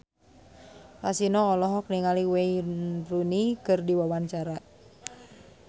Kasino olohok ningali Wayne Rooney keur diwawancara